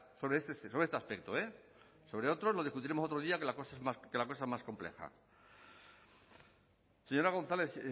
sobre este aspecto eh sobre otros lo discutiremos otro día que la cosa es más compleja señora gonzález